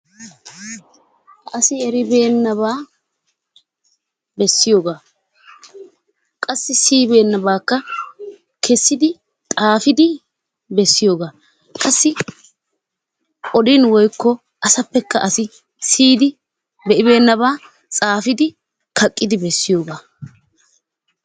Asi eribeenabaa bessiyoogaa qassi siyibenaabakka qassi keessidi xaafidi bessiyoogaa qassi odin woykko asappekka asi siiyid be'ibenaaba tsaafidi kaaqqidi bessiyoogaa.